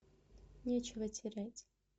нечего терять